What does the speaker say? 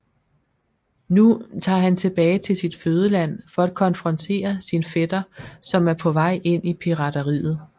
Nu tager han tilbage til sit fødeland for at konfrontere sin fætter som er på vej ind i pirateriet